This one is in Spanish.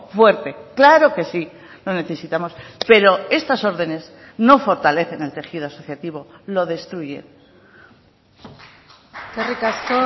fuerte claro que sí lo necesitamos pero estas órdenes no fortalecen el tejido asociativo lo destruye eskerrik asko